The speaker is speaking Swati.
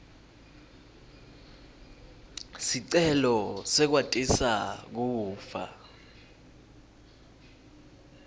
sicelo sekwatisa kufa